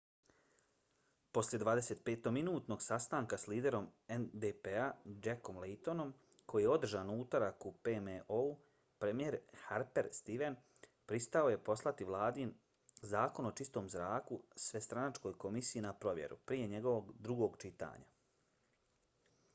poslije 25-minutnog sastanka s liderom ndp-a jackom laytonom koji je održan u utorak u pmo-u premijer stephen harper pristao je poslati vladin zakon o čistom zraku svestranačkoj komisiji na provjeru prije njegovog drugog čitanja